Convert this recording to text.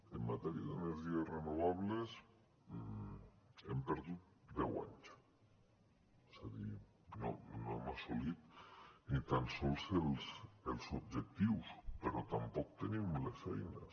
en matèria d’energies renovables hem perdut deu anys és a dir no hem assolit ni tan sols els objectius però tampoc tenim les eines